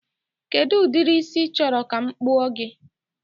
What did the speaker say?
Kedụ ụdịrị ísí ị chọrọ ka m kpụọ gị?